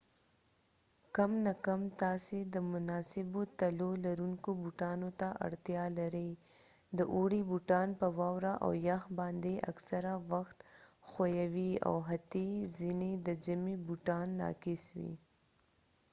کم نه کم تاسې د مناسبو تلیو لرونکو بوټانو ته اړتیا لرئ د اوړي بوټان په واوره او یخ باندې اکثره وخت ښویه وي او حتي ځینې د ژمي بوټان ناقص وي